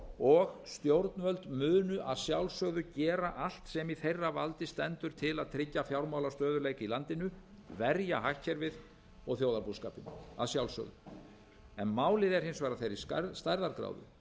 og stjórnvöld munu að sjálfsögðu gera allt sem í þeirra valdi stendur til að tryggja fjármálastöðugleika í landinu verja hagkerfið og þjóðarbúskapinn að sjálfsögðu en málið er hins vegar af þeirri stærðargráðu